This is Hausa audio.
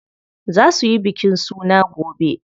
Za suyi bikin suna gobe.